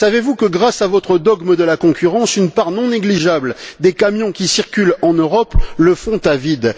Savez vous que grâce à votre dogme de la concurrence, une part non négligeable des camions qui circulent en Europe le font à vide?